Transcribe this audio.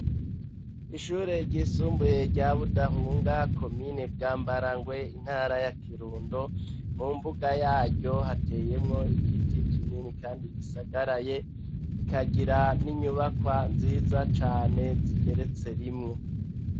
Ishure ryisumbuye rya budahunga komine bwa mbara ngwe intara ya kirundo mu mbuga yaryo hateyemwo igiti kinini, kandi gisagaraye ikagira n'inyubakwa nziza cane zigeretse rimwo.